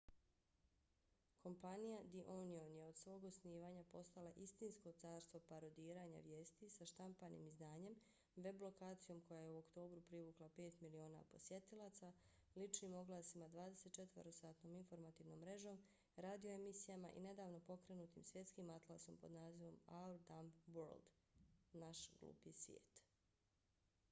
kompanija the onion je od svog osnivanja postala istinsko carstvo parodiranja vijesti sa štampanim izdanjem web lokacijom koja je u oktobru privukla 5 miliona posjetilaca ličnim oglasima 24-satnom informativnom mrežom radio emisijama i nedavno pokrenutim svjetskim atlasom pod nazivom our dumb world naš glupi svijet